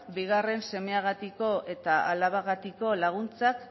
bigarren semeagatik eta alabagatik laguntzak